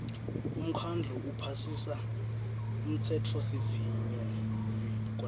umkhandlu uphasisa umtsetfosivivinyo